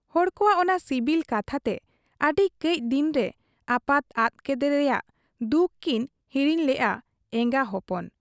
ᱦᱚᱲ ᱠᱚᱣᱟᱜ ᱚᱱᱟ ᱥᱤᱵᱤᱞ ᱠᱟᱛᱷᱟᱛᱮ ᱟᱹᱰᱤ ᱠᱟᱹᱡ ᱫᱤᱱᱨᱮ ᱟᱯᱟᱛ ᱟᱫ ᱠᱮᱫᱮ ᱨᱮᱭᱟᱝ ᱫᱩᱠ ᱠᱤᱱ ᱦᱤᱲᱤᱧ ᱞᱮᱜ ᱟ ᱮᱸᱜᱟ ᱦᱚᱯᱚᱱ ᱾